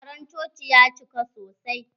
Taron coci ya cika sosai.